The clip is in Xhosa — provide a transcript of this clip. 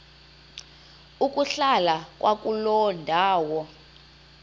ukuhlala kwakuloo ndawo